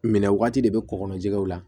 Minɛ wagati de bɛ kɔkɔjɛgɛw la